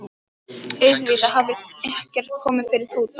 Auðvitað hafði ekkert komið fyrir Tóta.